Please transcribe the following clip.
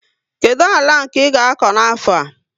Kedu àlà nke i ga akọ n' afo a?